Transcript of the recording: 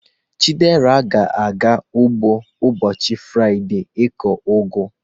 Chidera ga-aga ugbo n'ụbọchị Fraịde ikụ ugu.